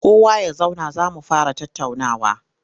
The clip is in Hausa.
Kowa ya zauna za mu fara tattaunawa!